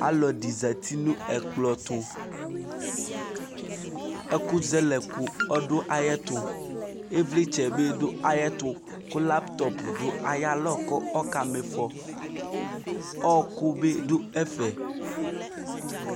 aloɛdi zati no ɛkplɔ to ɛku zɛlɛ ko do ayɛto ivlitsɛ bi do ayɛto kò laptɔp do ay'alɔ kò ɔka ma ifɔ ɔku bi do ɛfɛ